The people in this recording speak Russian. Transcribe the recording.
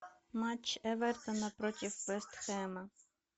матч эвертона против вест хэма